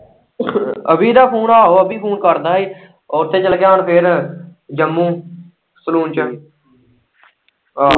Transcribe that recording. ਅਭੀ ਦਾ ਫੂਨ ਆਹੋ ਅਭੀ ਫੂਨ ਕਰਦਾ ਹੀ ਉੱਥੇ ਚੱਲ ਗਿਆ ਹੁਣ ਫੇਰ ਜੰਮੂ ਸੈਲੂਨ ਚ ਆਹੋ।